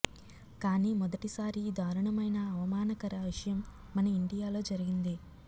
కాని మొదటి సారి ఈ దారుణమైన అవమానకర విషయం మన ఇండియాలో జరిగింది